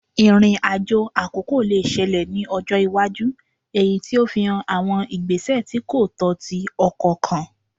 Irin-ajo akoko le ṣẹlẹ ni ọjọ iwaju eyiti o fihan awọn igbesẹ ti ko tọ ti ọkọ kan